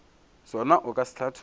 sona o ka se hlatholla